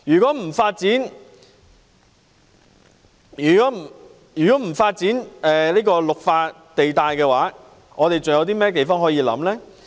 不發展"綠化地帶"，我們還有甚麼土地可以考慮？